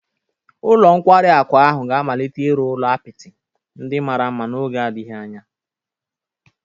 Ụlọ nkwari akụ ahụ ga-amalite ịrụ ụlọ apịtị ndị mara mma n'oge adịghị anya